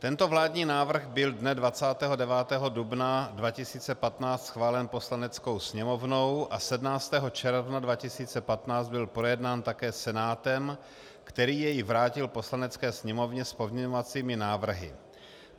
Tento vládní návrh byl dne 29. dubna 2015 schválen Poslaneckou sněmovnou a 17. června 2015 byl projednán také Senátem, který jej vrátil Poslanecké sněmovně s pozměňovacími návrhy.